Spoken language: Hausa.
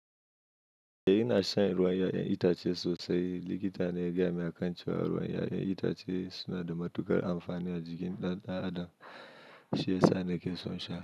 Eh ina shan ruwan 'ya'yan itace sosai, likita ne ya gaya mun akan cewa ruwan 'ya'yan itace suna da matuƙar amfani a jikin ɗan Adam shi ya sa ne ke son sha.